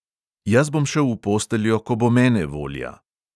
Jaz bom šel v posteljo, ko bo mene volja ...